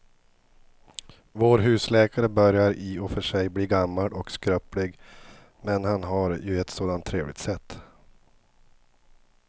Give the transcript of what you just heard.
Vår husläkare börjar i och för sig bli gammal och skröplig, men han har ju ett sådant trevligt sätt!